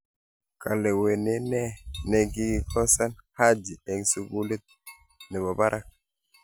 Kalewenee ne kikiosan Haji eng sukulit ne bo barak.